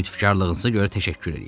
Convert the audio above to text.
Lütfkarlığınıza görə təşəkkür eləyirəm.